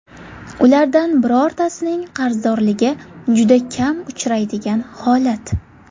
Ulardan birortasining qarzdorligi juda kam uchraydigan holat.